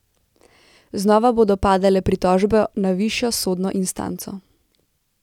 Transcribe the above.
Znova bodo padale pritožbe na višjo sodno instanco.